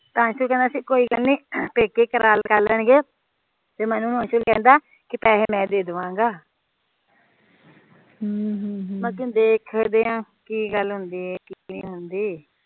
ਅੰਸ਼ੁਲ ਕਹਿੰਦਾ ਕੋਈ ਗੱਲ ਨੀ ਪੇਕੇ ਕਰ ਲੈਣਗੇ ਤੇ ਮੈਨੂੰ ਅੰਸ਼ੂ ਕਹਿੰਦਾ ਪੈਸੇ ਮੈ ਦੇ ਦਵਾਂਗਾ ਬਾਕੀ ਦੇਖਦੇ ਆ ਕਿ ਗੱਲ ਹੁੰਦੀ ਏ ਕਿ ਨਹੀਂ ਹੁੰਦੀ